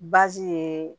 ye